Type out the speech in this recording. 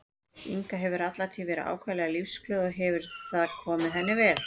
Inga hefur alla tíð verið ákaflega lífsglöð og hefur það komið henni vel.